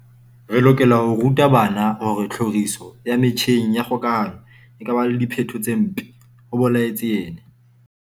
"Re lokela ho ruta bana hore tlhoriso ya metjheng ya kgokahano e ka ba le diphetho tse mpe," ho boletse yena.